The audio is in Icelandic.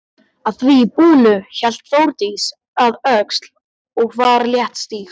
Að því búnu hélt Þórdís að Öxl og var léttstíg.